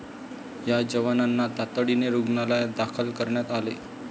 या जवानांना तातडीने रुग्णालयात दाखल करण्यात आले.